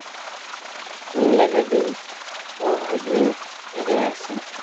aan la rabin oo hodmin ciidda wanaagsan.